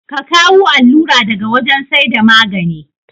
Ka kawu allura daga wajan saida magane